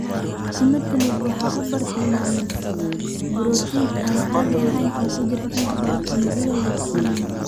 Imatinib waxa uu bartilmaameedsadaa borotiin aan caadi ahayn oo ku jira inta badan unugyada leukemia.